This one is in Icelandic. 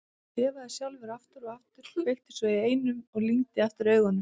Hann þefaði sjálfur aftur og aftur, kveikti svo í einum og lygndi aftur augunum.